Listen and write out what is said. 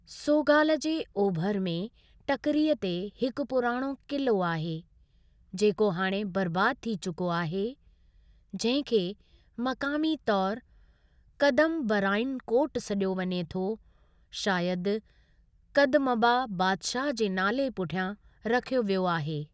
सोगाल जे ओभर में टकिरीअ ते हिकु पुराणो क़िलो आहे, जेको हाणे बर्बाद थी चुको आहे, जंहिं खे मक़ामी तौर कदमबाराइन कोट सॾियो वञे थो, शायदि कदमबा बादशाहु जे नाले पुठियां रखियो वियो आहे।